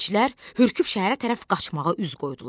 Keçilər hürküb şəhərə tərəf qaçmağa üz qoydular.